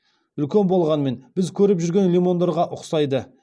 үлкен болғанымен біз көріп жүрген лимондарға ұқсайды